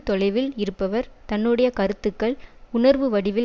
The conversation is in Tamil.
தொலைவில் இருப்பவர் தன்னுடைய கருத்துக்கள் உணர்வு வடிவில்